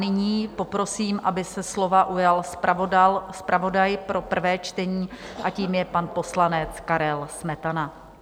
Nyní poprosím, aby se slova ujal zpravodaj pro prvé čtení, a tím je pan poslanec Karel Smetana.